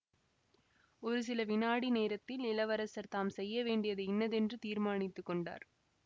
ஒரு சில வினாடி நேரத்தில் இளவரசர் தாம் செய்யவேண்டியது இன்னதென்று தீர்மானித்து கொண்டார்